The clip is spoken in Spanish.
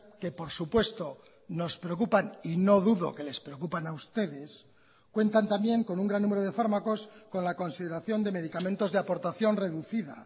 que por supuesto nos preocupan y no dudo que les preocupan a ustedes cuentan también con un gran número de fármacos con la consideración de medicamentos de aportación reducida